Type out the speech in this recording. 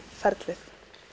ferlið